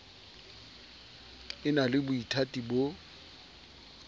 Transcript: e na le boithati bo